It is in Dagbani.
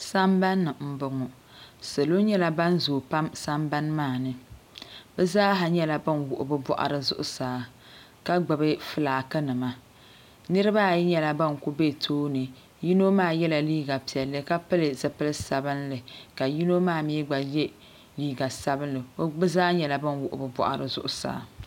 Sambani m boŋɔ salo nyɛla ban zoogi pam sanbani maa ni bɛ zaaha nyɛla ban wuɣi bɛ boɣari zuɣusaa ka gbibi filaaki nima niriba ayi nyɛla ban kuli be tooni yino maa yela liiga piɛlli ka pili zipil'sabinli ka yino maa mee gba ye liiga sabinli bɛ zaa nyɛla ban wuɣi bɛ boɣari zuɣusaa.